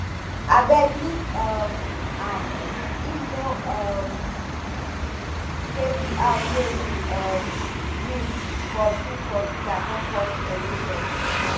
abeg leave um am him no know um say di house wey im um build for build for villa don cause erosion